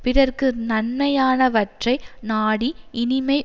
பிறர்க்கு நன்மையானவற்றை நாடி இனிமை